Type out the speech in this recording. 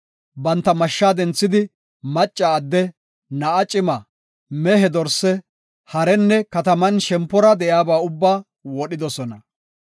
Banta mashsha denthidi, macca adde, na7a cima, mehe, dorse, harenne kataman shempora de7iyaba ubbaa wodhidosona.